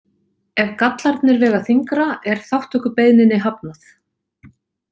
Ef gallarnir vega þyngra er þátttökubeiðninni hafnað.